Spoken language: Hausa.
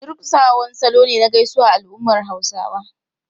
Durƙusa wani salo ne na gaisuwa a al’ummar Hausawa.